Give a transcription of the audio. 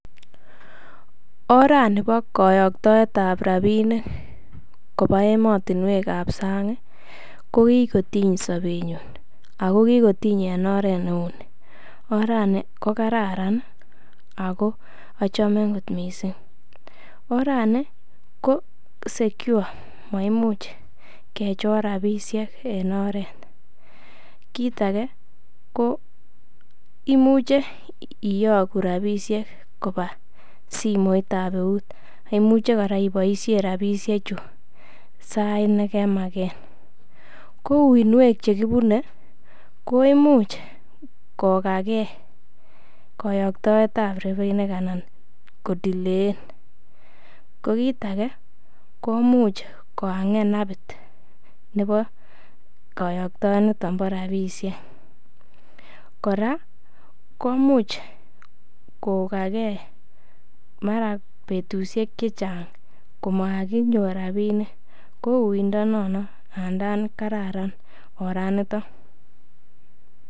Orani bo koyoktoet ab rabinik koba emotinwek ab sang ko kigotiny sobenyun ago kigotiny en oret neo. Orani kokararan ago achame kot mising orani ko secure maimuch kechor rabishek en oret kit age ko imuche iyogu rabishek kobwa simoit ab eut, ago imuche kora iboisien rabisheju sait nekemagen. Ko uiynwek che kibune koimuch kogakee koyoktoet aba rabinik anan ko delay en ko kit age komuch kohang'en appit nebo koyoktie ab rabishek kora komuch kogakee mara betushek che chang komakinyor rabinik kouiyndo nono ngandan kararan oranito.